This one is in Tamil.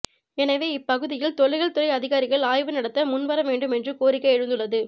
எனவே இப்பகுதியில் தொல்லியல் துறை அதிகாரிகள் ஆய்வு நடத்த முன் வர வேண்டும் என்று கோரிக்கை எழுந்துள்ளது